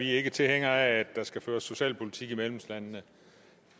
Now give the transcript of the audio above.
ikke tilhængere af at der skal føres socialpolitik i medlemslandene